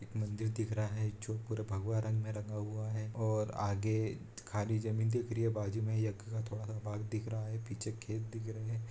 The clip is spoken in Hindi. मंदिर दिख रहा है जो पूरा भगवा रंग में रंगा हुआ है और आगे खाली जमीन दिख रही है बाजू में यज्ञ का थोड़ा सा भाग दिख रहा है पीछे खेत दिख रहे हैं।